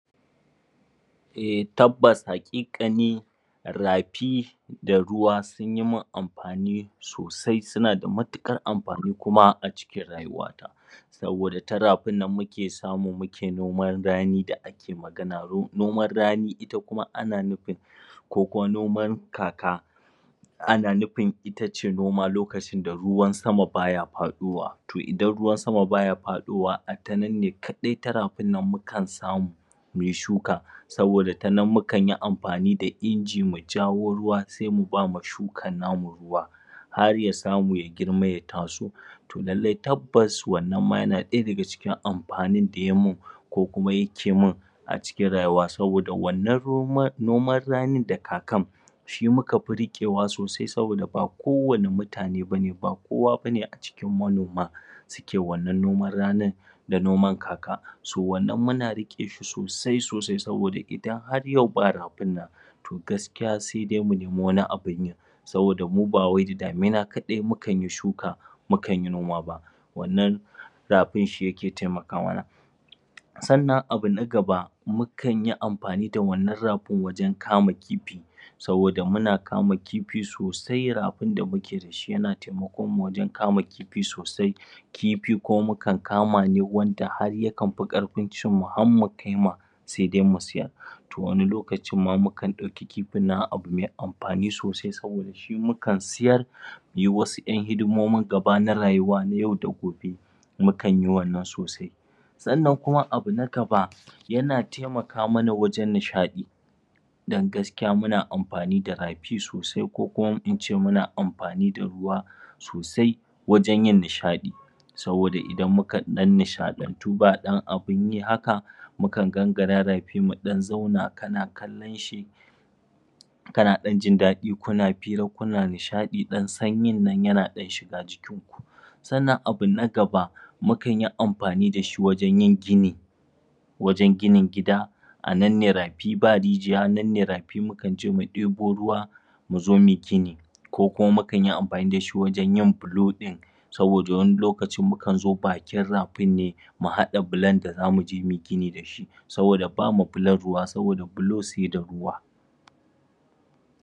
Eh tabbasa haƙiƙani rafi da ruwa sun yi man amfani sosai suna da matuƙar amfani a rayuwata. Saboda ta rafin nan muke samu muke noman rani da da aike magana. Noman rani kuma ana nufin ko ko noman kaka Ana nufin ita ce noma lokacin da ruwan sama ba ya faɗowa ti idan ruwa sama ba ya faɗowa ata nan ne kaɗai ta rafinnan muke samu mu yi shuka Saboda ta nan mukan yi amfani da inji mua jawo ruwa sai mu ba ma shukar namu ruwa. har ya samu ya girma ya taso. to lallai tabbas wannan ma yana ɗaya daga cikin amfanin da ya yi man. ko kuma yake man a cikin rayuwa saboda wannan noman ranin da kakan shi muka fi riƙewa sosai saboda ba kowane mutane ba ne ba kowa ba ne a cikin manoman suke wannan noman ranin da noman kaka so wannan muna riƙe shi sosai sosai saboda idan har yau ba rafin nan to gaskiya sai dai mu nemi wani abun yin. saboda mu ba wai da damina kaɗai mukan yi shuka mukan yi noma ba wannan rafin shi yake taimaka mana. sannan abu na gaba mukan yi amfani da wannan rafin wajen kama kifi. saboda muna kama kifi sosai rafin da muke da shi na taimaka mana wajen kama kifi sosa. kifi kuma mukan kama ne wanda har yakan fi ƙarfin cinmu har kai ma sai dai mu siyar to wani lokacin ma mukan ɗauki kifin nan ma a abu mai amfani sosai saboda shi mukan siyar mu yi wasu ƴan hidimomin gaba na rayuwa yau da gobe mukan yi wannan sosai. Sannan kuma abu na gaba yana taimaka mana wajen nishaɗi. Don gaskiya muna amfani da rafi sosai ko kuma in ce muna amfani da ruwa sosai wajen yin nishaɗi. Saboda idan muka ɗan nishaɗantu ba ɗan abun yi haka mukan gangara rafi mu ɗan zauna kana kallon shi kana ɗan jin daɗi kuna fira kuna nishaɗi ɗan sanyin nan yana shigar ku Sannan abu na gaba, mukan yi amfani da shi wajen yin gini. wajen ginin gida a nan ne rafi ba rijiya nan ne rafi mukan je mu ɗebo ruwa mu zo mu yi gini. ko kuma mukan yi amfani da shi wajen yin bulo ɗin. saboda wani lokaci mukan zo bakin rafin ɗin ne, mu haɗa bulon da za mu je mu yi gini da shi. saboda ba ma bulon ruwa, saboda bulo sai da ruwa.